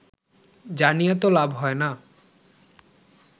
জানিয়ে তো লাভ হয়না